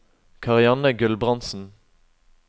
Karianne Gulbrandsen